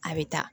A bɛ taa